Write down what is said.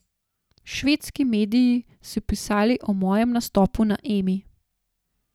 Švedski mediji so pisali o mojem nastopu na Emi.